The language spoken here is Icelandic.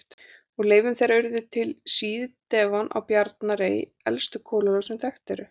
Úr leifum þeirra urðu til á síð-devon á Bjarnarey elstu kolalög sem þekkt eru.